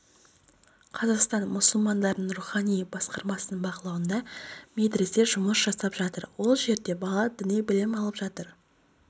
қазақстан мұсылмандарының рухани басқармасының бақылауында медресе жұмыс жасап жатыр ол жерде бала діни білім алып жатыр